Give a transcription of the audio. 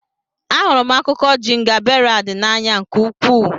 Ahụrụ m akụkọ jingaberad n'anya nke ukwuu.